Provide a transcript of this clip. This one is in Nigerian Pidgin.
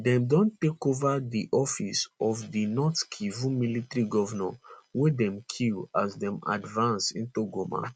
dem don take over di office of di north kivu military governor weydem kill as dem advance into goma